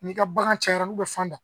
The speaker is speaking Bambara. N'i ka bagan cayara n'u bɛ fan da